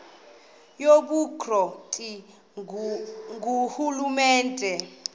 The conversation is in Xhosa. yobukro ti ngurhulumente